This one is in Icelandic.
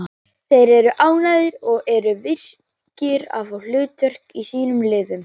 Það þýðir að þeir leita að áhrifum reikistjörnunnar á umhverfi sitt.